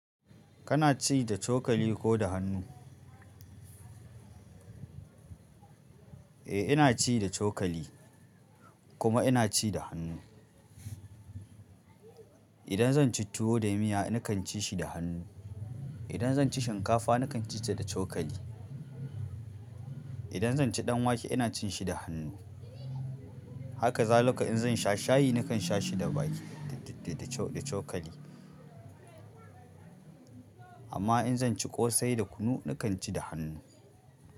Kana ci da cokali ko da hannu? Eh, ina ci da cokali kuma ina ci da hannu. Idan zan ci tuwo da miya, nakan ci shi da hannu. Idan zan ci shinkafa, nakan ci ta da cokali. Idan zan ci ɗan wake, ina cin shi da hannu. Haka zalika inzan sha shayi, nakan sha shi da baƙi da cokali. Amma in zan ci ƙosai da kunu, nakan ci da hannu.